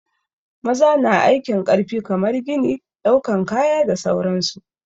Maza na aikin ƙarfi kamar gini, ɗaukan kaya da sauran su.